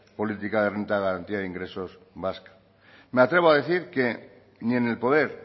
política de renta de garantía de ingresos vasca me atrevo a decir que ni en el poder